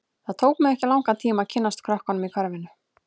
Það tók mig ekki langan tíma að kynnast krökkunum í hverfinu.